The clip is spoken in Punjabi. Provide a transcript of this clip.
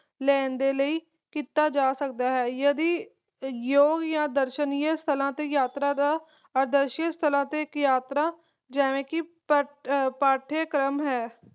ਲੈਣ ਦੇ ਲਈ ਕੀਤਾ ਜਾ ਸਕਦੀ ਹੈ ਯਦਿ ਯੋਗ ਜਾ ਦਰਸ਼ਨੀ ਸਥਲਾਂ ਤੇ ਯਾਤਰਾ ਦ ਡਰਹਿ ਸਥਲ ਤੇ ਯਾਤਰਾ ਜਿਵੇਂ ਪਾਠਯਕ੍ਰਮ ਹੈ